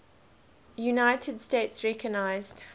united states recognized